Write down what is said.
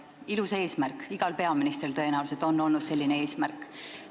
Ilus eesmärk, igal peaministril tõenäoliselt on olnud selline eesmärk.